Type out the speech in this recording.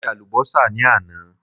mo je alubosa ni àná